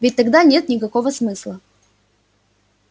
ведь тогда нет никакого смысла